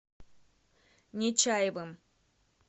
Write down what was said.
нечаевым